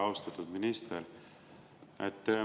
Väga austatud minister!